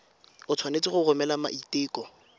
o tshwanetse go romela maiteko